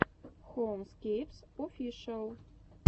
хоумскейпс офишиал